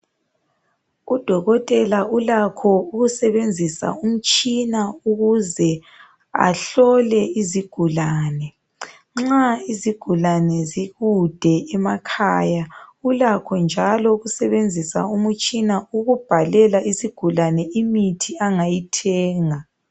Udokotela ulakho ukusebenzisa umtshina ukuze ahlole izigulane ,nxa izigulane zikude emakhaya ulakho njalo ukusebenzisa umutshisa ukubhalela isigulane imithi angayithenga.